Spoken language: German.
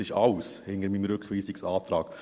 Dies alles steckt hinter meinem Rückweisungsantrag.